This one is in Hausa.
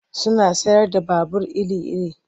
Suna sayar da babur iri-iri.